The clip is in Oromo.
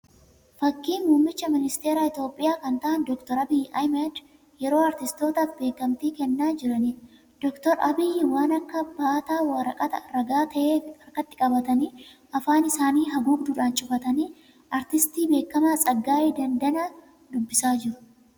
Fakkii muummichi ministeeraa Itiyoopiyaa kan ta'aan Dr. Abiyyi yeroo aartistootaaf beekantii kennaa jiraniidha. Dr. Abiyyi waan akka baataa waraqata ragaa ta'ee harkatti qabatanii, afaan isaanii haguugduun cufatanii aartistii beekamaa Tsaggaayee Dandanaa dubbisaa jiru.